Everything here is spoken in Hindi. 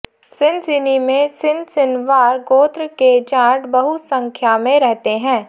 सिनसिनी में सिनसिनवार गोत्र के जाट बहुसंख्या में रहते हैं